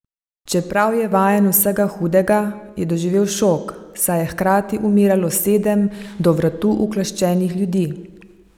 Čeprav je vajen vsega hudega, je doživel šok, saj je hkrati umiralo sedem do vratu ukleščenih ljudi.